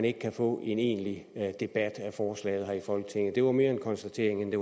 ikke kan få en egentlig debat af forslaget her i folketinget det var mere en konstatering end